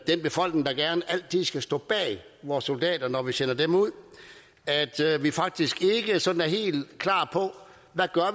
befolkning der gerne altid skal stå bag vores soldater når vi sender dem ud at vi faktisk ikke sådan er helt klare på hvad